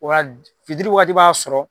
O la fitiri wagati b'a sɔrɔ.